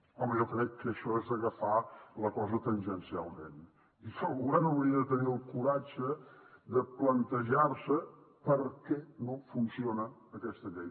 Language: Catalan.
home jo crec que això és agafar la cosa tangencialment i que el govern hauria de tenir el coratge de plantejar se per què no funciona aquesta llei